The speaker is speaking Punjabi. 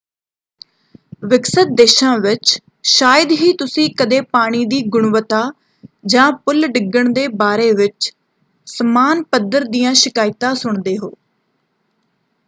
ਵਿਕਸਿਤ ਦੇਸ਼ਾਂ ਵਿੱਚ ਸ਼ਾਇਦ ਹੀ ਤੁਸੀਂ ਕਦੇ ਪਾਣੀ ਦੀ ਗੁਣਵੱਤਾ ਜਾਂ ਪੁਲ ਡਿੱਗਣ ਦੇ ਬਾਰੇ ਵਿੱਚ ਸਮਾਨ ਪੱਧਰ ਦੀਆਂ ਸ਼ਿਕਾਇਤਾਂ ਸੁਣਦੇ ਹੋ।